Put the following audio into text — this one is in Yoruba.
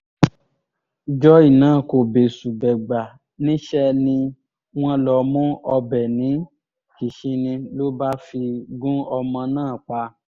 joy náà kò bẹ́sù-bẹ́gbà níṣẹ́ ni wọ́n lọ mú ọbẹ̀ ní kìsinni ló bá fi gún ọmọ náà pa